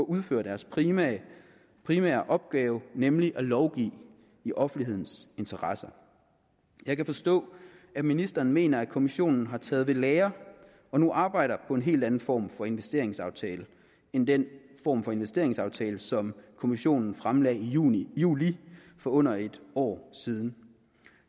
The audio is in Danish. udføre deres primære primære opgave nemlig at lovgive i offentlighedens interesser jeg kan forstå at ministeren mener at kommissionen har taget ved lære og nu arbejder på en helt anden form for investeringsaftale end den form for investeringsaftale som kommissionen fremlagde i juli juli for under et år siden